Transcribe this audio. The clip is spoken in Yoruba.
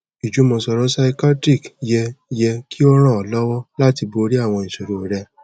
ijumọsọrọ psychiatric yẹ yẹ ki o ran ọ lọwọ lati bori awọn iṣoro rẹ